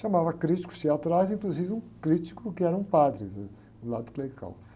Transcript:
Chamava críticos teatrais, inclusive um crítico que era um padre do lado clerical.